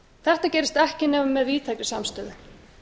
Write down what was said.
þetta gerist ekki nema með víðtækri samstöðu